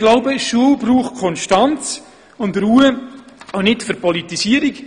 Ich glaube jedoch, die Schule braucht Konstanz und Ruhe, keine Verpolitisierung.